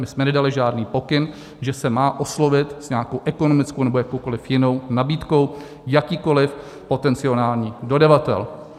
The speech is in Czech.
My jsme nedali žádný pokyn, že se má oslovit s nějakou ekonomickou nebo jakoukoliv jinou nabídkou jakýkoliv potenciální dodavatel.